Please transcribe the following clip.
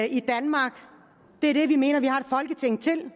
i danmark det er det vi mener at vi har et folketing til